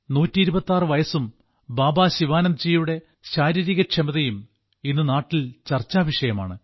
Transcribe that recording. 126 വയസ്സും ബാബാ ശിവാനന്ദ്ജിയുടെ ശാരീരികക്ഷമതയും ഇന്ന് നാട്ടിൽ ചർച്ചാവിഷയമാണ്